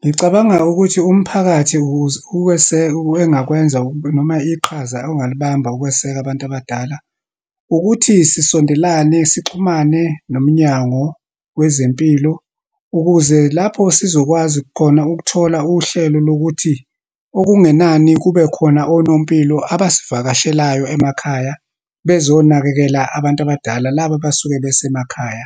Ngicabanga ukuthi, umphakathi ukuze ukweseka engakwenza noma iqhaza ongalibamba ukweseka abantu abadala. Ukuthi sisondelane, sixhumane nomnyango wezempilo ukuze lapho sizokwazi khona ukuthola uhlelo lokuthi, okungenani kube khona onompilo abasivakashelayo emakhaya, bezonakekela abantu abadala, laba abasuke besemakhaya.